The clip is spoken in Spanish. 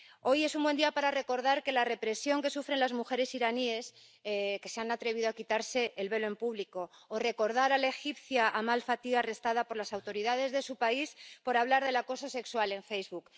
Hoy es un buen día para recordar la represión que sufren las mujeres iraníes que se han atrevido a quitarse el velo en público o para recordar a la egipcia Amal Fathy, arrestada por las autoridades de su país por hablar del acoso sexual en Facebook.